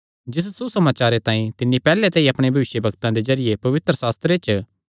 जिस सुसमाचारे तांई तिन्नी पैहल्ले ते ई अपणे भविष्यवक्तां दे जरिये पवित्रशास्त्रे च